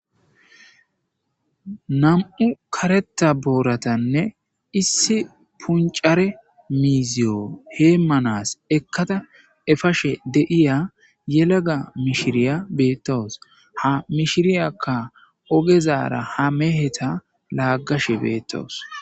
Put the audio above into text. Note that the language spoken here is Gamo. nam7u karetta booratanne issi punccare miizziyo heemanas ekkada efashe de7iya yelaga mishiriya beettawus. ha mishiriyakka ogezaara ha meheta laaggashe beettawus.